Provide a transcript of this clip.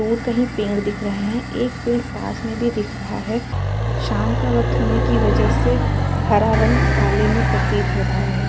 दूर कहीं पेड़ दिख रहे हैं। एक पेड़ पास में भी दिख रहा है। शाम का वक्त होने की वजह से हरा रंग काले में प्रतीत हो रहा है।